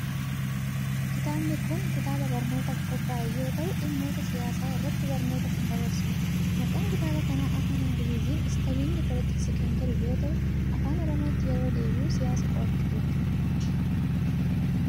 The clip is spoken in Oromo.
Kitaabni kun, kitaaba barnootaaf qophaa'e yoo ta'u, dhimmoota siyaasaa irratti barnoota kan dabarsu dha. Maqaan kitaaba kanaa afaan Ingiliiziin Studying Politics kan jedhu yoo ta'u, afaan Oromootti yeroo deebi'u siyaasa qo'achuu jechuu dha.